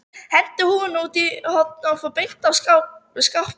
Henti húfunni út í horn og fór beint að skápnum.